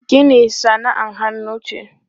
Gini sana'ar hannu ce.